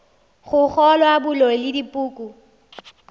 go kgolwa boloi le dipoko